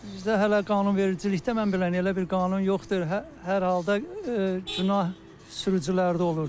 Bizdə hələ qanunvericilikdə mən belə elə bir qanun yoxdur, hər halda günah sürücülərdə olur.